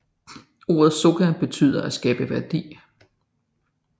Ordet Soka betyder at skabe værdi